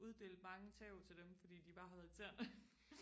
uddelt mange tæv til dem fordi de bare har været irriterende